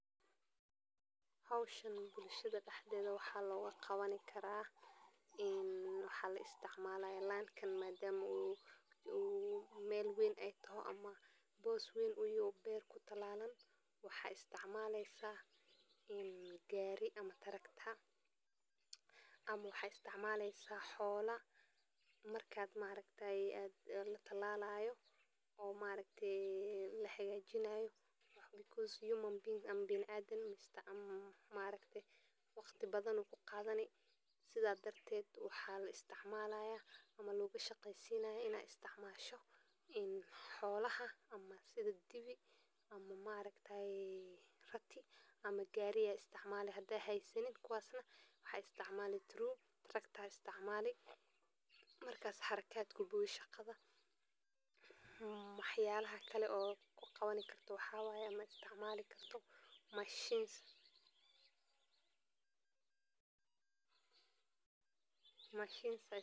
Howshan bulshada dexdeeda waxaa looga qabani karaa, waxaa la isticmaala dulkan maadama uu meel weyn aay tahay ama boos weyn uu yahay oo beer ku talaalan waxaa isticmaleysa gaari ama waxaa isticmaleysa xoola marka aad talaleysid oo lahaagajinaayo, waxaa yeele biniadam waqti badan ayuu ku qaadani, sidaa darteed waxaa la isticmalaya, inaad isticmaasho xoolaha Sidi dibi ama rati ama gaari, hadaad haysanin kuwaas waxaa isticmaali markaas haraka ayaad kubogi shaqada, wax yaabaha kale aad isticmaali karto waxaa waye mashiin.